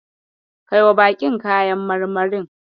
Kaiwa baƙin kayan marmarin.